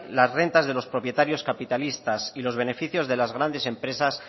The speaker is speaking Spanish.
las rentas de los propietarios capitalistas y los beneficios de las grandes empresas